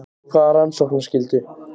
Hvaða rannsóknarskyldu?